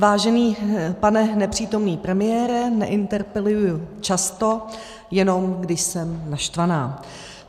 Vážený pane nepřítomný premiére, neinterpeluji často, jenom když jsem naštvaná.